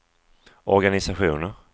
organisationer